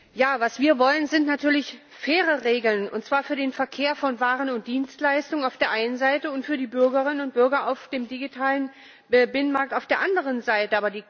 Herr Präsident! Was wir wollen, sind natürlich faire Regeln, und zwar für den Verkehr von Waren und Dienstleistungen auf der einen Seite und für die Bürgerinnen und Bürger auf dem digitalen Binnenmarkt auf der anderen Seite.